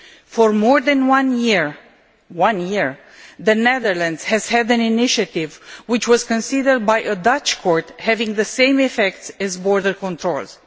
For more than one year one year the Netherlands has had an initiative which was considered by a Dutch court as having the same effects as border controls.